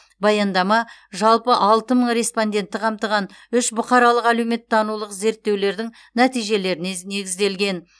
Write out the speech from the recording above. баяндама жалпы алты мың респондентті қамтыған үш бұқаралық әлеуметтанулық зерттеудің нәтижелеріне негізделген